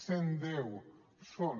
cent deu són